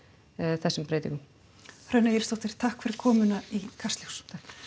þessum breytingum Hrönn Egilssdóttir takk fyrir komuna í Kastljós